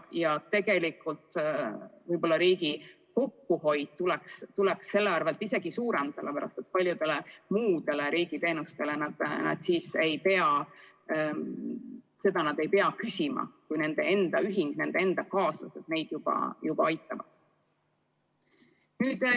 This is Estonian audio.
Ja tegelikult võib-olla riigi kokkuhoid tuleks tänu sellele isegi suurem, sest paljusid muid riigi teenuseid need inimesed siis ei pea küsima, kui nende enda ühing, nende enda kaaslased neid juba aitavad.